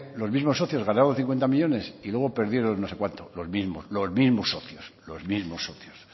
los mismos socios ganaron cincuenta millónes y luego perdieron no sé cuántos los mismos los mismos socios los mismos socios